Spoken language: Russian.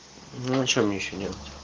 ну что мне ещё делать